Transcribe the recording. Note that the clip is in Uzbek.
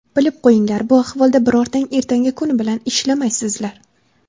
Bilib qo‘yinglar, bu ahvolda birortang ertangi kun bilan ishlamaysizlar.